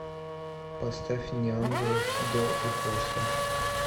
поставь неангелов до и после